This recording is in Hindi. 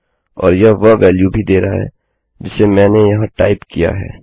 और यह वह वेल्यू भी दे रहा है जिसे मैंने यहाँ टाइप किया है